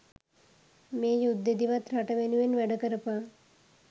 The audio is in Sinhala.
මේ යුද්දෙදිවත් රට වෙනුවෙන් වැඩ කරපන්